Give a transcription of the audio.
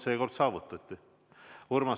Seekord saavutati konsensus.